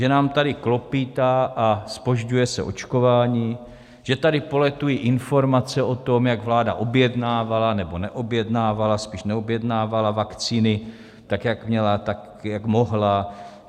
Že nám tady klopýtá a zpožďuje se očkování, že tady poletují informace o tom, jak vláda objednávala nebo neobjednávala, spíš neobjednávala vakcíny tak, jak měla, tak jak mohla.